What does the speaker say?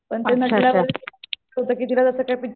पण तिकडे असं